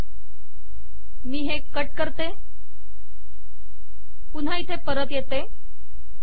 हे मी कट करते पुन्हा इथे परत येते